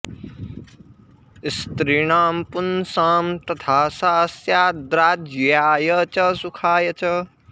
स्त्रीणां पुंसां तथा सा स्याद्राज्याय च सुखाय च